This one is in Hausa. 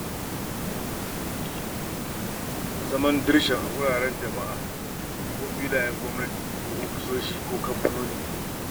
Zaman dirshan a wuraren jama’a kamar filayen gwamnati ko ofisoshin kamfanoni.